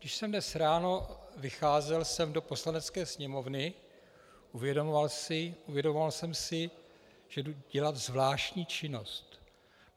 Když jsem dnes ráno vycházel sem do Poslanecké sněmovny, uvědomoval jsem si, že jdu dělat zvláštní činnost.